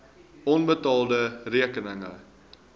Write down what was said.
onbetaalde rekeninge